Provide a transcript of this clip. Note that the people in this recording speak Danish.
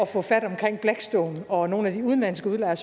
få fat om blackstone og nogle af de udenlandske udlejere